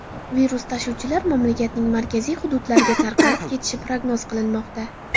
Virus tashuvchilar mamlakatning markaziy hududlariga tarqalib ketishi prognoz qilinmoqda.